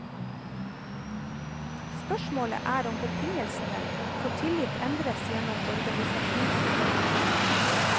Spørsmålet er om betingelsene for tillit endres gjennom organisasjonsforandringer.